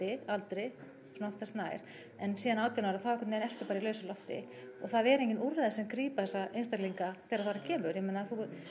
aldri svona oftast nær en síðan átján ára þá einhvern veginn ertu bara í lausu lofti og það eru engin úrræði sem grípa þessa einstaklinga þegar þar að kemur ég meina